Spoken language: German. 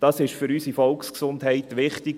Das ist für unsere Volksgesundheit wichtig.